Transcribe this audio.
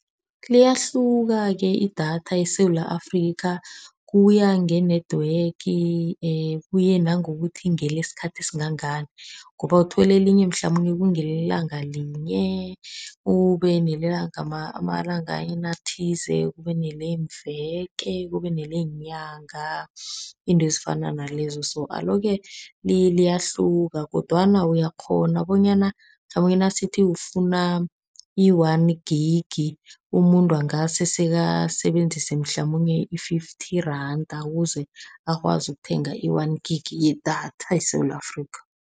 Liyahluka-ke idatha eSewula Afrika. Kuya nge-network, kuye nangokuthi ngelesikhathi esingangani, ngoba uthola elinye mhlamunye kungelelanga linye, ube nelemalangeni athize, kube neleemveke, kube neleenyanga, izinto ezifana nalezo. Alo-ke liyahluka, kodwana uyakghona bonyana mhlamunye nasithi ufuna i-one gig, umuntu angase sekasebenzise mhlamunye i-fifty rand, ukuze akwazi ukuthenga i-one gig yedatha eSewula Afrika.